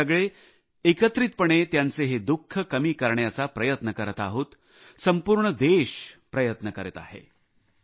आपण सगळे एकत्रितपणे त्यांचे हे दुःख कमी करण्याचा प्रयत्न करीत आहोत संपूर्ण देश प्रयत्न करीत आहे